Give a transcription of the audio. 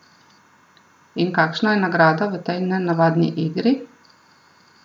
In kakšna je nagrada v tej nenavadni igri?